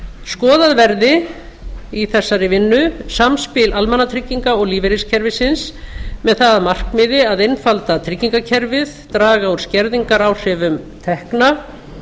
skoðað verði í þessari vinnu samspil almannatrygginga og lífeyriskerfisins með það að markmiði að einfalda tryggingakerfið draga úr skerðingaráhrifum tekna